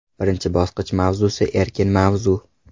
Birinchi bosqich mavzusi – erkin mavzu.